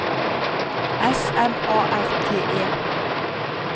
S M A R T E